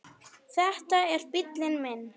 Þetta er bíllinn minn